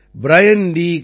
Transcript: கார்ப்ரன் பிரியன் ட்